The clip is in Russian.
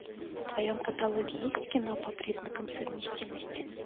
в твоем каталоге есть кино по признакам совместимости